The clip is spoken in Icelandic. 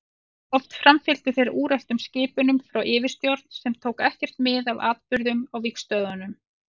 Oft framfylgdu þeir úreltum skipunum frá yfirstjórn sem tók ekkert mið af atburðum á vígstöðvunum.